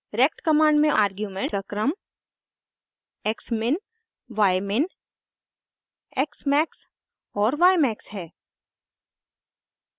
rect command में argument का क्रम xmin ymin xmax और ymax है